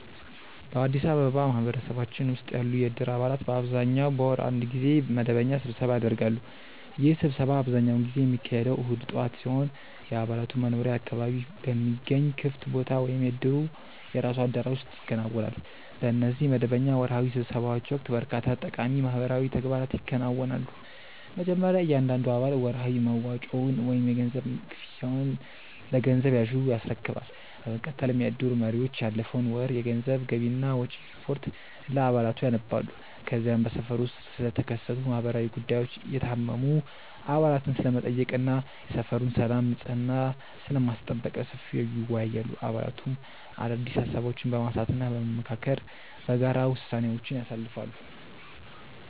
በአዲስ አበባ ማህበረሰባችን ውስጥ ያሉ የእድር አባላት በአብዛኛው በወር አንድ ጊዜ መደበኛ ስብሰባ ያደርጋሉ። ይህ ስብሰባ አብዛኛውን ጊዜ የሚካሄደው እሁድ ጠዋት ሲሆን፣ የአባላቱ መኖሪያ አካባቢ በሚገኝ ክፍት ቦታ ወይም የእድሩ የራሱ አዳራሽ ውስጥ ይከናወናል። በእነዚህ መደበኛ ወርሃዊ ስብሰባዎች ወቅት በርካታ ጠቃሚ ማህበራዊ ተግባራት ይከናወናሉ። መጀመሪያ እያንዳንዱ አባል ወርሃዊ መዋጮውን ወይም የገንዘብ ክፍያውን ለገንዘብ ያዡ ያስረክባል። በመቀጠልም የእድሩ መሪዎች ያለፈውን ወር የገንዘብ ገቢና ወጪ ሪፖርት ለአባላቱ ያነባሉ። ከዚያም በሰፈሩ ውስጥ ስለተከሰቱ ማህበራዊ ጉዳዮች፣ የታመሙ አባላትን ስለመጠየቅ እና የሰፈሩን ሰላምና ንጽሕና ስለማስጠበቅ በሰፊው ይወያያሉ። አባላቱም አዳዲስ ሃሳቦችን በማንሳትና በመመካከር በጋራ ውሳኔዎችን ያሳልፋሉ።